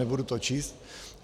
Nebudu to číst.